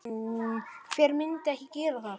Hver myndi ekki gera það?